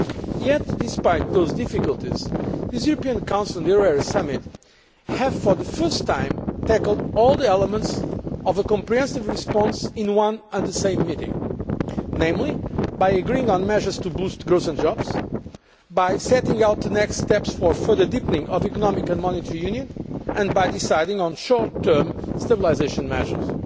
Yet despite those difficulties this European Council and euro area summit has for the first time tackled all the elements of a comprehensive response in one and the same meeting namely by agreeing on measures to boost growth and jobs, by setting out the next steps for further deepening of Economic and Monetary Union and by deciding on short term stabilisation measures.